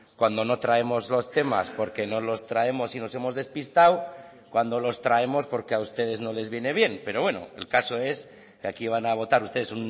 cuando no traemos los temas porque no los traemos y nos hemos despistado cuando los traemos porque a ustedes no les viene bien pero bueno el caso es que aquí van a votar ustedes